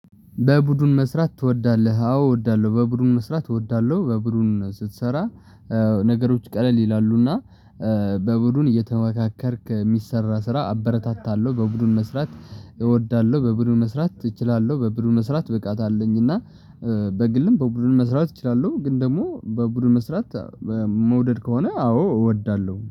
በቡድን መስራት ትወዳለህ? አዎ እወዳለሁ በቡድን መስራት እወዳለሁ በቡድን ስትሰራ ነገሮች ቀለል ይላሉና በቡድን እየተመካከርክ የሚሰራ ስራ አበረታታለሁ በቡድን መስራት። እወዳለሁ በቡድን መስራት እችላለሁ። በቡድን መስራት ብቃት አለኝ። እና በግልም በቡድን መስራት እችላለሁ ግን ደግሞ በቡድን መስራት። መውደድ ከሆነ አዎ እወዳለሁ